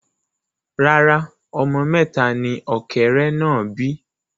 Rárá, ọmọ mẹta ni ọ̀kẹ́rẹ́ náà bí